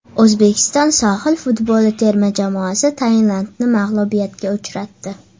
O‘zbekiston sohil futboli terma jamoasi Tailandni mag‘lubiyatga uchratdi.